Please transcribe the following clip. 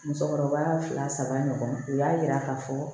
Musokɔrɔba fila saba ɲɔgɔn u y'a yira k'a fɔ